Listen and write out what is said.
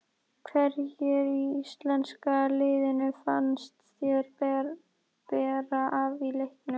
Hverjir í íslenska liðinu fannst þér bera af í leiknum?